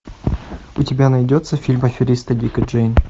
у тебя найдется фильм аферисты дик и джейн